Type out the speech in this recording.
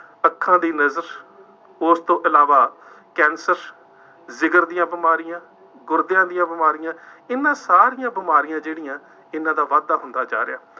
ਅੱਖਾਂ ਦੀ ਨਜ਼ਰ, ਉਸ ਤੋਂ ਇਲਾਵਾ ਕੈਂਸ਼ਰ, ਜਿਗਰ ਦੀਆਂ ਬਿਮਾਰੀਆਂ, ਗੁਰਦਿਆਂ ਦੀਆਂ ਬਿਮਾਰੀਆਂ, ਇਹਨਾ ਸਾਰੀਆਂ ਬਿਮਾਰੀਆਂ ਜਿਹੜੀਆਂ ਇਹਨਾ ਦਾ ਵਾਧਾ ਹੁੰਦਾ ਜਾ ਰਿਹਾ ਹੈ।